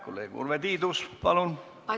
Kolleeg Urve Tiidus, palun!